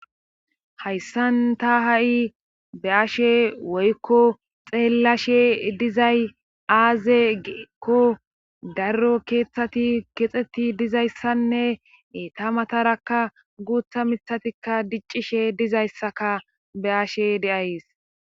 hayssan ta ha7i be ashe woykko xeellashe dizay aaze geekko darro keeththati kexxeti dizayssanne ta matarakka guutha mithatikka diccishe dizayssaka be ashe deays